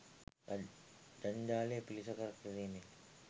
ජංජාලය පිලිසකර කිරීමදී